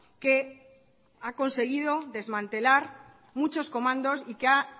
que ha conseguido desmantelar muchos comandos y que